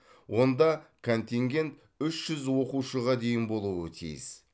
онда контингент үш жүз оқушыға дейін болуы тиіс